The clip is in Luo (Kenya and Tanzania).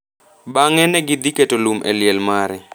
Bang’e ne gidhi keto lum e liel mare.